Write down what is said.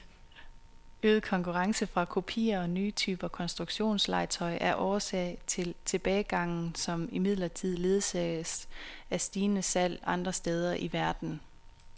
Øget konkurrence fra kopier og nye typer konstruktionslegetøj er årsag til tilbagegangen, som imidlertid ledsages af stigende salg andre steder i verden.